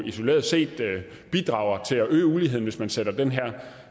isoleret set bidrager til at øge uligheden hvis man sætter den her